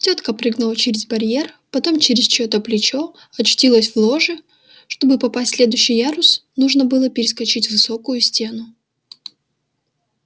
тётка прыгнула через барьер потом через чьё-то плечо очутилась в ложе чтобы попасть в следующий ярус нужно было перескочить высокую стену